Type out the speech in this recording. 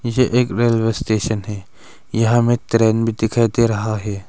यह एक railway station है यहां मैं ट्रेन भी दिखाई दे रहा है।